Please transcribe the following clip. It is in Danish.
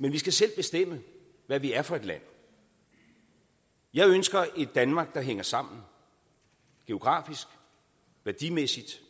men vi skal selv bestemme hvad vi er for et land jeg ønsker et danmark der hænger sammen geografisk værdimæssigt